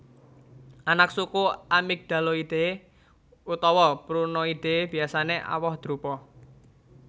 Anaksuku Amygdaloideae utawa Prunoideae Biasané awoh drupa